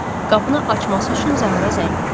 Qapını açması üçün Zahıra zəng vurdum.